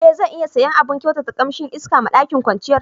E, zan iya siya abun kyautata kamsin iska ma ɗakin kwanciyar